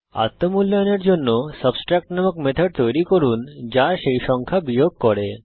আত্ম মূল্যায়নের জন্য সাবট্রাক্ট নামক মেথড তৈরী করুন যা সেই সংখ্যা বিয়োগ করে